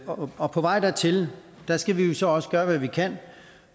og fyrre og på vej dertil skal vi jo så også gøre hvad vi kan